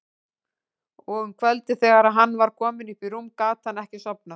Og um kvöldið þegar hann var kominn upp í rúm gat hann ekki sofnað.